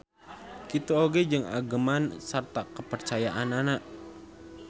Kitu oge jeung ageman sarta kapercayaanana.